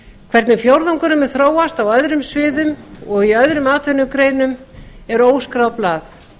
hvernig fjórðungurinn mun þróast á öðrum sviðum og í öðrum atvinnugreinum er óskráð blað